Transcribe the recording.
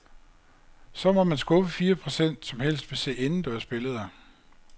Så må man skuffe fire procent, som helst vil se indendørs billeder.